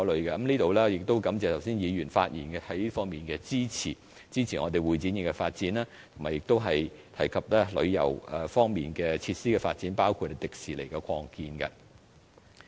在此我感謝議員剛才發言支持會展業的發展，以及提及旅遊方面設施的發展，包括香港迪士尼樂園的擴建。